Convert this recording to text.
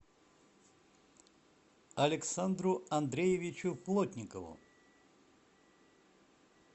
александру андреевичу плотникову